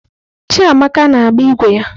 Chiamaka na-agba ígwè ya.